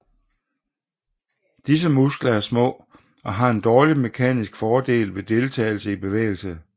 Disse muskler er små og har en dårlig mekaniske fordel ved deltagelse i bevægelse